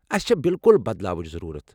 اسہِ چھےٚ بِلكٗل بدلاوٕچ ضروُرتھ